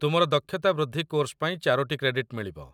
ତୁମର ଦକ୍ଷତା ବୃଦ୍ଧି କୋର୍ସ ପାଇଁ ଚାରୋଟି କ୍ରେଡିଟ୍‌ ମିଳିବ